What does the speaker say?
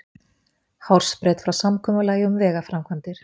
Hársbreidd frá samkomulagi um vegaframkvæmdir